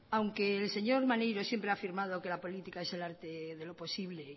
aunque el señor maneiro siempre ha afirmado que la política es el arte de lo posible